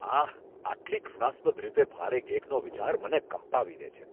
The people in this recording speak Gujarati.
આહ, આટલી ઘૃણાસ્પદ રીતે ભારે કેકનો વિચાર મને કંપાવી દે છે.